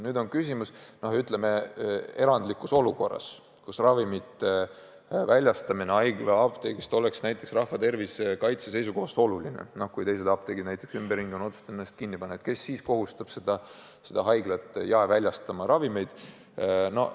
Jah, on küsimus, kes kohustab erandlikus olukorras, kus ravimite väljastamine haiglaapteegist oleks rahva tervise kaitse seisukohast oluline – näiteks kui teised apteegid ümberringi on otsustanud ennast kinni panna –, haiglat jaemüügi korras ravimeid müüma.